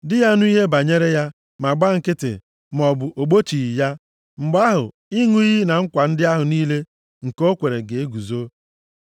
di ya nụ ihe banyere ya, ma gba nkịtị maọbụ ogbochighị ya, mgbe ahụ, ịṅụ iyi na nkwa ndị ahụ niile nke o kwere ga-eguzo.